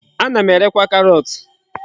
Ana m erekwa karọt.